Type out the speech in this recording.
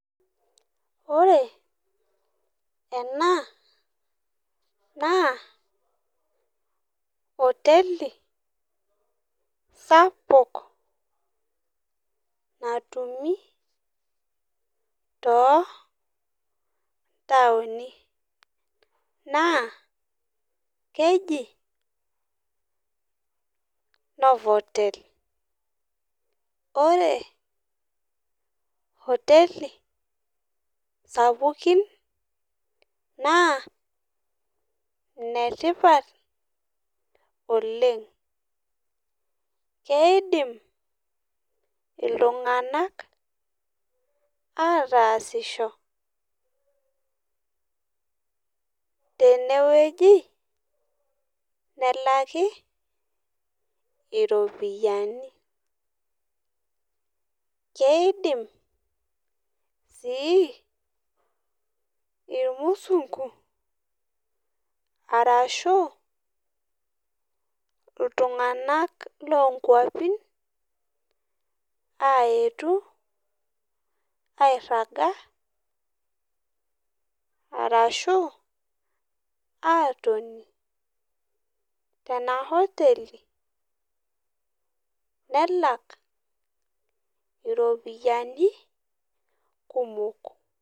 Wore ena naa hoteli sapuk, natumu too ntaoni. Naa keji Novotel. Wore hoteli sapukin naa inetipat oleng'. Keidim iltunganak aataasisho tenewoji, nelaki iropiyani. Keidim sii irmusungu arashu iltunganak loonkuapi aayetu airraga arashu aatoni tena hoteli, nelak iropiyani kumok.